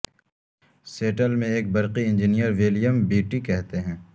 settle میں ایک برقی انجنیئر ولیم بیٹی کہتے ہیں